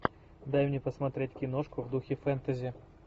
дай мне посмотреть киношку в духе фэнтези